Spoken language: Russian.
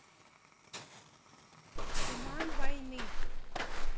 туман войны